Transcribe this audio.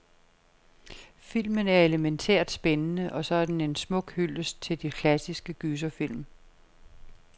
Filmen er elemæntært spændende, og så er den en smuk hyldest til de klassiske gyserfilm.